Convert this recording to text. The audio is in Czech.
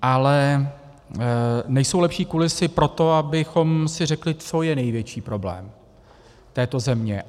Ale nejsou lepší kulisy pro to, abychom si řekli, co je největší problém této země.